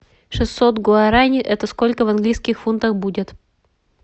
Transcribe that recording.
шестьсот гуарани это сколько в английских фунтах будет